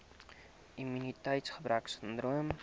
immuniteits gebrek sindroom